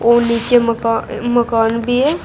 और नीचे मकान भी है।